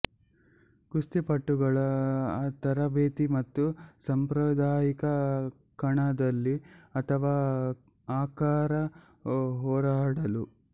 ಕುಸ್ತಿಪಟುಗಳು ತರಬೇತಿ ಮತ್ತು ಸಾಂಪ್ರದಾಯಿಕ ಕಣದಲ್ಲಿ ಅಥವಾ ಆಕಾರ ಹೋರಾಡಲು